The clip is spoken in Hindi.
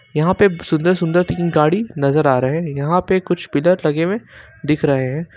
यहां पे सुंदर सुंदर तीन गाड़ी नजर आ रहे हैं यहां पे कुछ पिलर लगे हुए दिख रहे हैं।